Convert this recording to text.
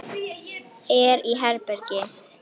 Er í herbergi.